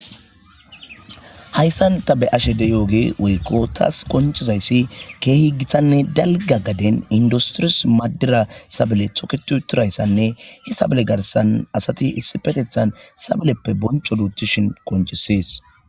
Hayssan ta be ashe de yooge woykko taas konchizayssi keehi githanne dalga gaden industiris maddira sabale toketuuturayssanne he sabale garsan asati issi petethan sabaleppe bonco duutishin koncisees